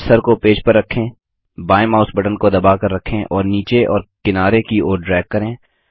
cursor को page पर रखें बाएँ माउस बटन को दबाकर रखें और नीचे और किनारे की ओर ड्रैग करें